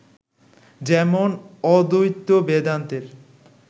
যেমন, অদ্বৈত বেদান্তের